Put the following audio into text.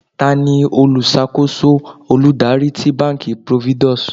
tani oluṣakoso oludari ti banki providus?